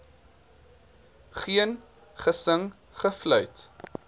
geen gesing gefluit